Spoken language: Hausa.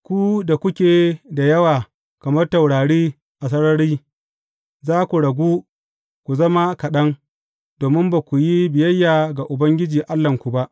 Ku da kuke da yawa kamar taurari a sarari za ku ragu ku zama kaɗan, domin ba ku yi biyayya ga Ubangiji Allahnku ba.